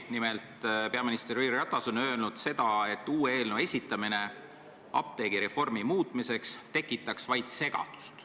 Nimelt on peaminister Jüri Ratas öelnud, et uue eelnõu esitamine apteegireformi muutmiseks tekitaks vaid segadust.